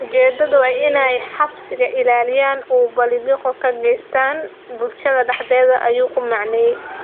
Ujeedadoodu waa in ay cabsida ilaaliyaan oo ay bililiqo ka geystaan ​​bulshada dhexdeeda" ayuu ku macneeyay.